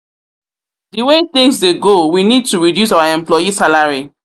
The way things dey go we need to reduce our employee salary